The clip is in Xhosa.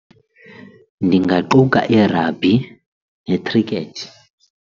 Ndingaquka irabhi ne-cricket.